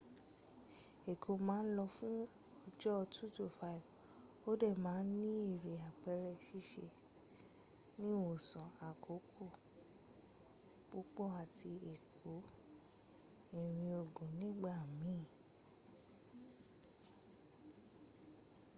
ẹ̀kọ́ ma n lọ fún ọjọ́ 2-5 o dẹ̀ ma n ní eré àpẹrẹ ṣíṣe ìwòsàn àkókò púpọ̀ àti ẹkọ́ irin ogun nígbà miin